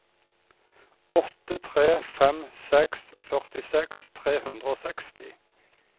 åtte tre fem seks førtiseks tre hundre og seksti